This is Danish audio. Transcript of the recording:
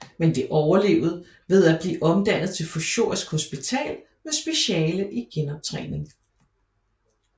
Men det overlevede ved at blive omdannet til Fysiurgisk Hospital med speciale i genoptræning